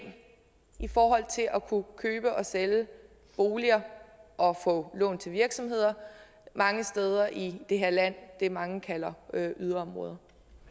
i forhold til at kunne købe og sælge boliger og få lån til virksomheder mange steder i det her land i det mange kalder yderområder